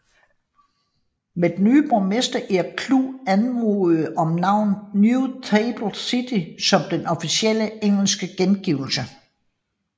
Men den nye borgermester Eric Chu anmodede om navnet New Taipei City som den officielle engelske gengivelse